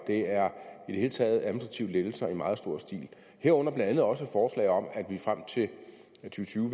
det er i det hele taget administrative lettelser i meget stor stil herunder blandt andet også forslag om at vi frem til to tusind